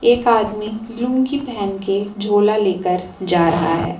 एक आदमी लुंगी पहन के झोला लेकर जा रहा है।